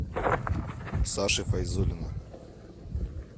саши файзуллина